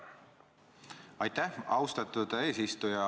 Aitäh, austatud eesistuja!